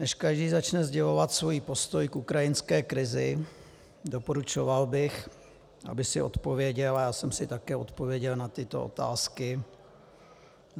Než každý začne sdělovat svůj postoj k ukrajinské krizi, doporučoval bych, aby si odpověděl, a já jsem si také odpověděl, na tyto otázky.